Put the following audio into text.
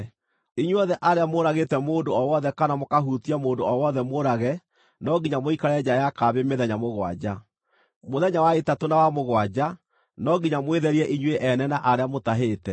“Inyuothe arĩa mũũragĩte mũndũ o wothe kana mũkahutia mũndũ o wothe mũũrage no nginya mũikare nja ya kambĩ mĩthenya mũgwanja. Mũthenya wa ĩtatũ na wa mũgwanja, no nginya mwĩtherie inyuĩ ene na arĩa mũtahĩte.